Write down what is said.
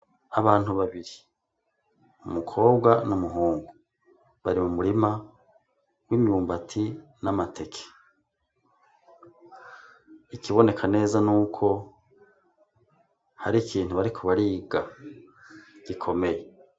Abantu babiri, umukobwa n'umuhungu, bari mu murima w'imyumbati n'amateke. Ikiboneka neza ni uko hari ikintu bariko bariga gikomeye.